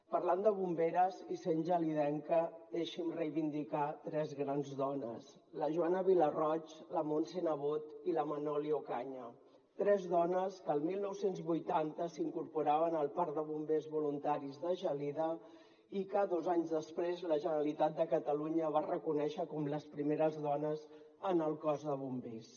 parlant de bomberes i sent gelidenca deixi’m reivindicar tres grans dones la joana vilarroig la montse nebot i la manoli ocaña tres dones que el dinou vuitanta s’incorporaven al parc de bombers voluntaris de gelida i que dos anys després la generalitat de catalunya va reconèixer com les primeres dones en el cos de bombers